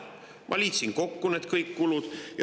Ma liitsin kõik need kulud kokku.